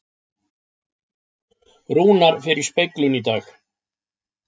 Rúnar fer í speglun í dag